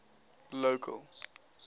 local